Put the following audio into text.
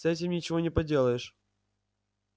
с этим ничего не поделаешь